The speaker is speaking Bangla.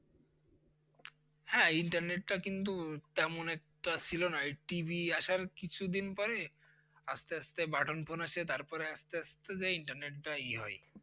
হ্যাঁ internet টা কিন্তু তেমন একটা ছিল না এই TV আসার কিছু দিন পরে আস্তে আস্তে button phone আসে তার পরে আস্তে আস্তে যেয়ে internet টা ই হয়।